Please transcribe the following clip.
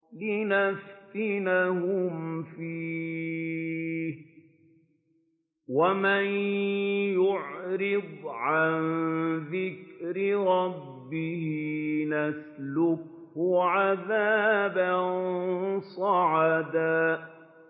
لِّنَفْتِنَهُمْ فِيهِ ۚ وَمَن يُعْرِضْ عَن ذِكْرِ رَبِّهِ يَسْلُكْهُ عَذَابًا صَعَدًا